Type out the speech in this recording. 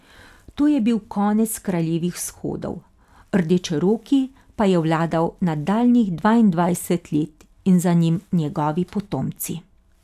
To je bil konec kraljevih shodov, Rdečeroki pa je vladal nadaljnjih dvaindvajset let in za njim njegovi potomci.